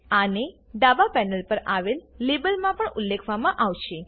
આને ડાબા પેનલ પર આવેલ લેબલમાં પણ ઉલ્લેખવામાં આવશે